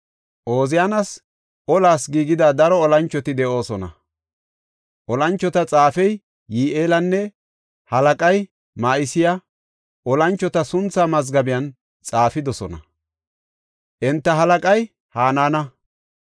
Ooziyaanas olaw giigida daro olanchoti de7oosona. Olanchota xaafey Yi7eelinne halaqay Ma7iseyi olanchota sunthaa mazgaben xaafidosona. Enta halaqay Hanaana.